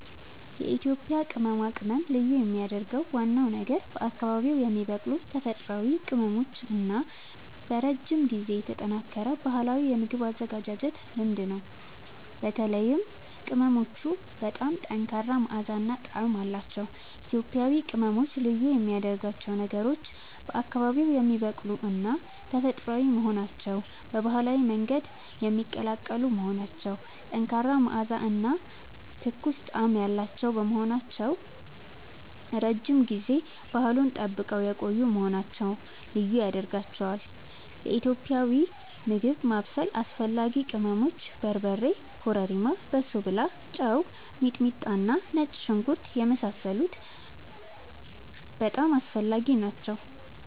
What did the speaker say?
የኢትዮጵያ ቅመማ ቅመም ልዩ የሚያደርገው ዋናው ነገር በአካባቢዉ የሚበቅሉ ተፈጥሯዊ ቅመሞች እና በረጅም ጊዜ የተጠናከረ ባህላዊ የምግብ አዘገጃጀት ልምድ ነው። በተለይም ቅመሞቹ በጣም ጠንካራ መዓዛ እና ጣዕም አላቸዉ። ኢትዮጵያዊ ቅመሞች ልዩ የሚያደርጋቸው ነገሮች፦ በአካባቢዉ የሚበቅሉና ተፈጥሯዊ መሆናቸዉ፣ በባህላዊ መንገድ የሚቀላቀሉ መሆናቸዉ፣ ጠንካራ መዓዛ እና ትኩስ ጣዕም ያላቸዉ መሆናቸዉ፣ ረዥም ጊዜ ባህሉን ጠብቀዉ የቆዪ መሆናቸዉ ልዪ ያደርጋቸዋል። ለኢትዮጵያዊ ምግብ ማብሰል አስፈላጊ ቅመሞች፦ በርበሬ፣ ኮረሪማ፣ በሶብላ፣ ጨዉ፣ ሚጥሚጣና ነጭ ሽንኩርት የመሳሰሉት በጣም አስፈላጊ ናቸዉ